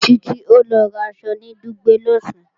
Títí o lọ raṣọ ní Dùgbẹ̀ lọ̀sán